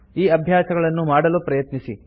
ಈ ಅಭ್ಯಾಸಗಳನ್ನು ಮಾಡಲು ಪ್ರಯತ್ನಿಸಿ